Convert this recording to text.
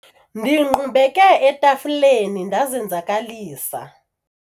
ndingqubeke etafileni ndazenzakalisa